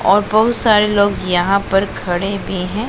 और बहुत सारे लोग यहां पर खड़े भी है।